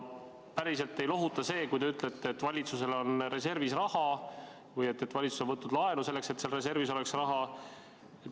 Päriselt ei lohuta see, kui te ütlete, et valitsusel on reservis raha või et valitsus on võtnud laenu selleks, et seal reservis oleks raha.